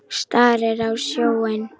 Starir á sjóinn.